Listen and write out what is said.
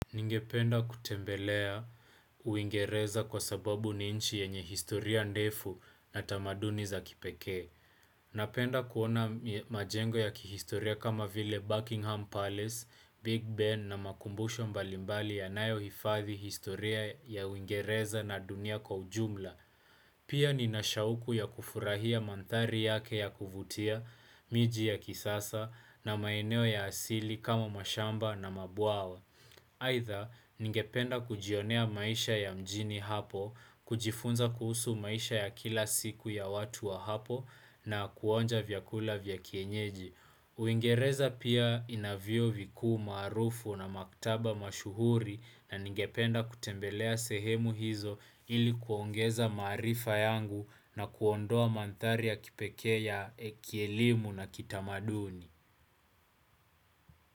Ningependa kutembelea uingereza kwa sababu ni nchi yenye historia ndefu na tamaduni za kipekee. Napenda kuona majengo ya kihistoria kama vile Buckingham Palace, Big Ben na makumbusho mbalimbali yanayo hifadhi historia ya uingereza na dunia kwa ujumla. Pia nina shauku ya kufurahia manthari yake ya kuvutia, miji ya kisasa na maeneo ya asili kama mashamba na mabwawa. Aidha, ningependa kujionea maisha ya mjini hapo, kujifunza kuhusu maisha ya kila siku ya watu wa hapo na kuonja vyakula vya kienyeji. Uingereza pia ina vyuo vikuu maarufu na maktaba mashuhuri na ningependa kutembelea sehemu hizo ili kuongeza maarifa yangu na kuondoa manthari ya kipekee ya kielimu na kitamaduni.